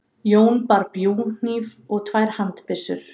Jón bar bjúghníf og tvær handbyssur.